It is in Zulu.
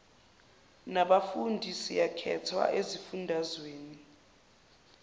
nabafundi siyakhethwa ezifundazweni